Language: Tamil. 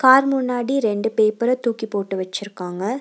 கார் முன்னாடி ரெண்டு பேப்பர தூக்கி போட்டு வெச்சிருக்காங்க.